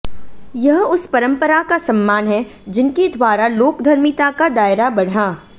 यह उस परम्परा का सम्मान है जिनके द्वारा लोकधर्मिता का दायरा बढ़ा